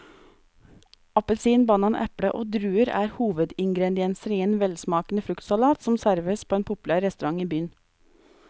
Appelsin, banan, eple og druer er hovedingredienser i en velsmakende fruktsalat som serveres på en populær restaurant i byen.